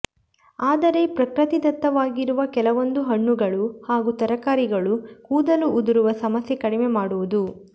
ಆದರೆ ಪ್ರಕೃತಿದತ್ತವಾಗಿರುವ ಕೆಲವೊಂದು ಹಣ್ಣುಗಳು ಹಾಗೂ ತರಕಾರಿಗಳು ಕೂದಲು ಉದುರುವ ಸಮಸ್ಯೆ ಕಡಿಮೆ ಮಾಡುವುದು